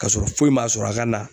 Kasɔrɔ foyi m'a sɔrɔ a ka na